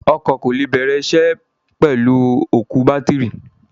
Ọkọ̀ kò lè bẹ̀rẹ̀ isẹ́ pẹ̀lú òkú bátìrì.